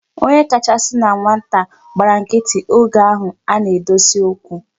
Onye kachasị na nwatakịrị gbara nkịtị oge ahụ a na-edosi okwu.